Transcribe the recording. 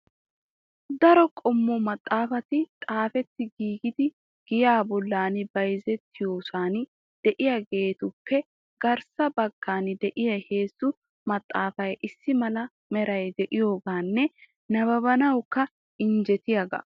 Daro qommo maxaafati xaafetti giigidi giyaa bollan bayzziyoosan de'iyaagappe garssa baggan de'iyaa heezzu maxaafay issi mala meray de'iyooganne nabbabanawukka injjettiyaaga.